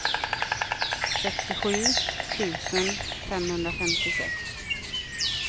sextiosju tusen femhundrafemtiosex